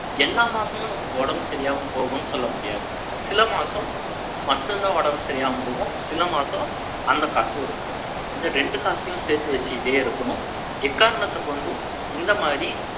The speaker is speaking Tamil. எல்லா மாசமும், நமக்கு உடம்பு சரியில்லாம போகும்ன்னு, சொல்ல முடியாது சில மாசம் மட்டும்தான் உடம்பு சரியில்லாம போகும். சில மாசம் அந்த காசு உருப்படும். இந்த ரெண்டு காசையும் சேர்த்து வச்சுக்கிட்டே இருக்கணும். எக்காரணத்தைக் கொண்டும், இந்த மாதிரி